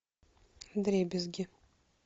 вдребезги